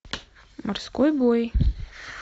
морской бой